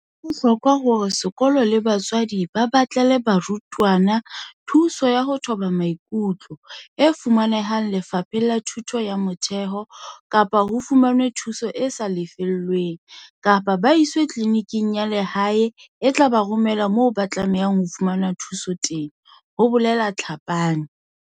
"Ho bohlokwa hore sekolo le batswadi ba batlele barutwana thuso ya ho thoba maikutlo, e fumanehang Lefapheng la Thuto ya Motheo, kapa ho fumanwe thuso e sa lefellweng kapa ba iswe tliliniking ya lehae e tla ba romela moo ba tlamehang ho fumana thuso teng," ho bolela Tlhapane.